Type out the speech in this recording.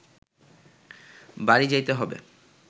বাড়ি যাইতে হইবে